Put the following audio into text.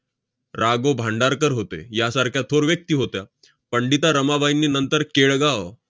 रा. गो. भांडारकर होते. यासारख्या थोर व्यक्ती होत्या. पंडिता रमाबाईंनी नंतर केळगाव